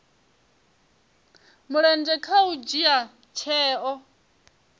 mulenzhe kha u dzhia tsheo